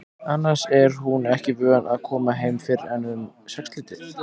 Annars er hún ekki vön að koma heim fyrr en um sexleytið.